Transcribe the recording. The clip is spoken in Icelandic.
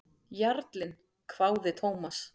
Jarlinn? hváði Thomas.